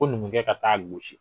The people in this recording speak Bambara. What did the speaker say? Ko numukɛ ka taaa losi